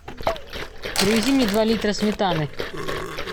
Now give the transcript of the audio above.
привези мне два литра сметаны